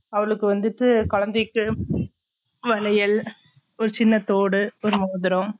அவளுக்கு வந்துட்டு குழந்தைக்கு வளையல் ஒரு சின்ன தோடு ஒரு மோதிரம்